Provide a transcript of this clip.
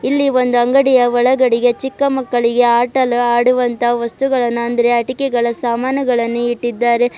ಇಲ್ಲಿ ಒಂದು ಅಂಗಡಿಯ ಒಳಗಡೆಗೆ ಚಿಕ್ಕ ಮಕ್ಕಳಿಗೆ ಆಟ ಆಡುವಂತ ವಸ್ತುವನ್ನ ಅಂದ್ರೆ ಆಟಿಕೆಗಳ ಸಾಮಾನುಗಳನ್ನ ಇಟ್ಟಿದ್ದಾರೆ.